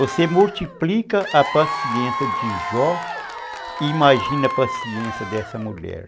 Você multiplica a paciência de Jó e imagina a paciência dessa mulher.